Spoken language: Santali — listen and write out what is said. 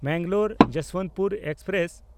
ᱢᱮᱝᱜᱟᱞᱳᱨ–ᱡᱚᱥᱵᱚᱱᱛᱯᱩᱨ ᱮᱠᱥᱯᱨᱮᱥ